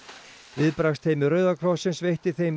viðbragðsteymi Rauða krossins veitti þeim